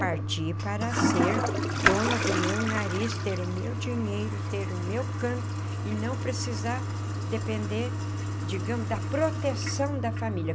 Parti para ser dona do meu nariz, ter o meu dinheiro, ter o meu canto e não precisar depender, digamos, da proteção da família.